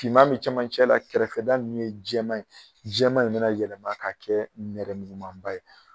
Finman bɛ cɛmancɛ la kɛrɛfɛda ninnu ye jɛman ye jɛman in bɛna yɛlɛma ka kɛ nɛrɛmugumaba ye